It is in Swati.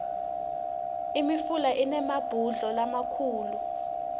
imifula inemabhudlo lamakhulu